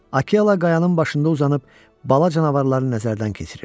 Akela qayanın başında uzanıb bala canavarları nəzərdən keçirirdi.